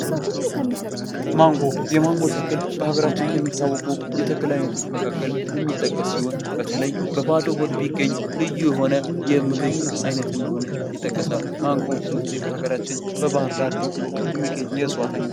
ማንጎ የማንጎ ተክል በሀገራችን ከሚታወቁ የተክል አይነቶች መካከል የሚጠቀስ ሲሆን በተለይ በባዶ ሆድ ቢገኝ ልዩ የሆነ የምግብ አይነት እንደሆነ ይጠቀሳል። ማንጎ ብዙ ጊዜ በሀገራችን በባህርዳር በቅሎ የሚገኝ የእፅዋት አይነት ነው።